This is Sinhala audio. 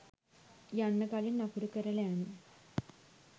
යන්න කලින් අකුරු කරල යන්න